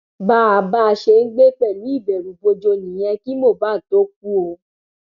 bá a bá a ṣe ń gbé pẹlú ìbẹrùbojo nìyẹn kí mohbad tóó kú o